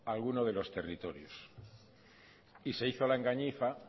a algunos de los territorios y se hizo la engañifa